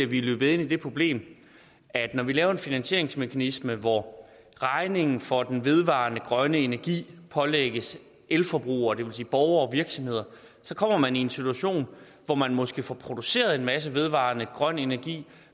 ville ende i det problem at når vi laver en finansieringsmekanisme hvor regningen for den vedvarende grønne energi pålægges elforbrugere det vil sige borgere og virksomheder så kommer man i en situation hvor man måske får produceret en masse vedvarende grøn energi